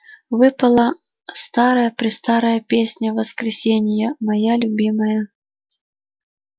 выпала старая-престарая песня воскресения моя любимая